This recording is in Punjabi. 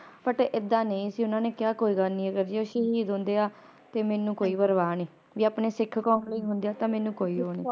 But ਏਦਾਂ ਕੋਈ ਨੀ ਸੀ ਓਹਨਾ ਨੇ ਕਿਹਾ ਕੋਈ ਗੱਲ ਨੇ ਜੇ ਓ ਸ਼ਹੀਦ ਹੁੰਦੇ ਆ ਤੇ ਮੈਨੂੰ ਕੋਈ ਪ੍ਰਵਾਹ ਨਹੀਂ ਵੇ ਆਪਣੇ ਸਿੱਖ ਕੌਮ ਲਈ ਹੁੰਦੇ ਆ ਤਾ ਮੈਨੂੰ ਕੋਈ ਉਹ ਨਹੀਂ